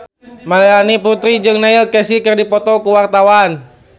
Melanie Putri jeung Neil Casey keur dipoto ku wartawan